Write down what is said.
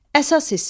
Əsas hissə.